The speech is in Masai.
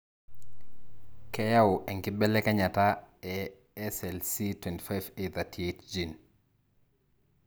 keyau enkibelekenyata e SLC25A38 gene.